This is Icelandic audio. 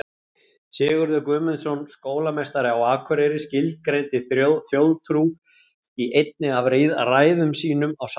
Sigurður Guðmundsson skólameistari á Akureyri skilgreindi þjóðtrú í einni af ræðum sínum á sal.